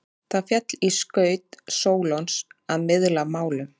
Það féll í skaut Sólons að miðla málum.